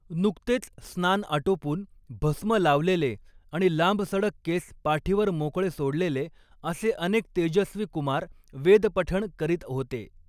नुकतेच स्नान आटोपून भस्म लावलेले आणि लांबसडक केस पाठीवर मोकळे सोडलेले असे अनेक तेजस्वी कुमार वेदपठण करीत होते.